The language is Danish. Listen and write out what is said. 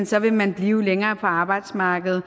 så vil man blive længere på arbejdsmarkedet og